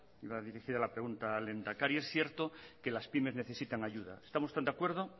iba dirigida la pregunta al lehendakari es cierto que las pymes necesitan ayuda estamos tan de acuerdo